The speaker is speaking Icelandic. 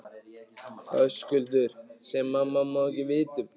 Höskuldur: Sem mamma má ekki vita um?